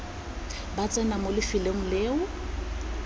ba tsena mo lefelong leo